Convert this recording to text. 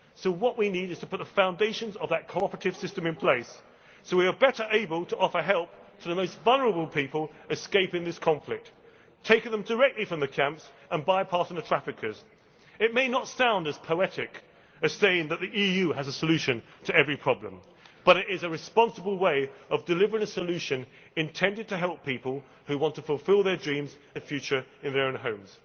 What we need is to put the foundations of that cooperative system in place so we are better able to offer help to the most vulnerable people escaping this conflict, taking them directly from the camps and bypassing the traffickers. It may not sound as poetic as saying that the EU has a solution to every problem, but it is a responsible way of delivering a solution intended to help people who want to fulfil their dreams and a better future in their own homes.